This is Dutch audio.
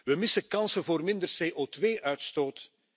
We missen kansen voor minder CO2 uitstoot.